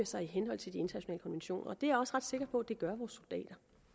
sig i henhold til de internationale konventioner og det er jeg også ret sikker på at